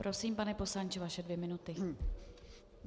Prosím, pane poslanče, vaše dvě minuty.